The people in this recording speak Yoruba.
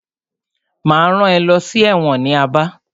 Máa rán ẹ lọ sí ẹ̀wọ̀n ní Aba.